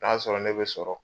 N'a sɔrɔ ne bɛ sɔrɔ